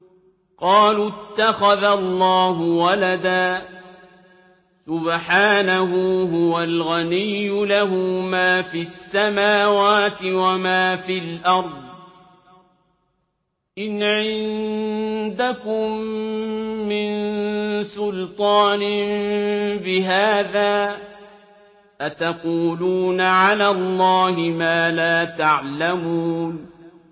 قَالُوا اتَّخَذَ اللَّهُ وَلَدًا ۗ سُبْحَانَهُ ۖ هُوَ الْغَنِيُّ ۖ لَهُ مَا فِي السَّمَاوَاتِ وَمَا فِي الْأَرْضِ ۚ إِنْ عِندَكُم مِّن سُلْطَانٍ بِهَٰذَا ۚ أَتَقُولُونَ عَلَى اللَّهِ مَا لَا تَعْلَمُونَ